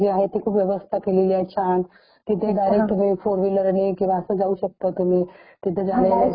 सगळं सगळं सगळं प्रायव्हेट बसेस आहेत ट्रॅव्हल्स आहे त्याची सुविधा तिथे केलेली आहे त्यामुळे जाण्यायेण्याचा तिथे काही प्रॉब्लेम नाही .